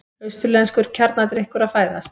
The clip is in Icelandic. Austurlenskur kjarnadrykkur að fæðast.